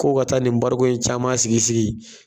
K'o ka taa ni barigon in caman sigi sigi.